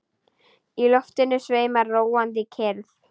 Í loftinu sveimar róandi kyrrð.